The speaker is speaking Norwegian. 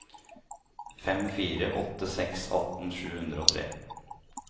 fem fire åtte seks atten sju hundre og tre